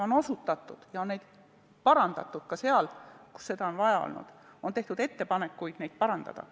Neile on osutatud ja neid on ka parandatud, kui on vaja olnud, ka on tehtud ettepanekuid neid parandada.